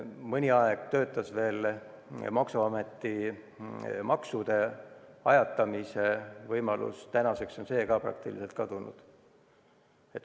Mõni aeg töötas veel maksuameti maksude ajatamise võimalus, tänaseks on ka see praktiliselt kadunud.